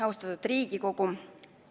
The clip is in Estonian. Austatud Riigikogu!